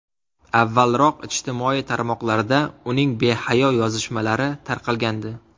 Avvalroq ijtimoiy tarmoqlarda uning behayo yozishmalari tarqalgandi.